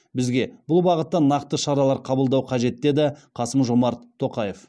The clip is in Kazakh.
бізге бұл бағытта нақты шаралар қабылдау қажет деді қасым жомарт тоқаев